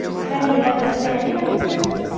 પેલા હીરા ઘસે એની વાત કરે છ?